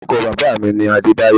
Orúkọ bàbáà mi ni Adébáyọ̀